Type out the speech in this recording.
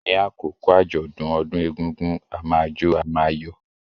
Ní àkókò àjọ̀dún ọdún egúngún, a máa jó, a máa yọ̀.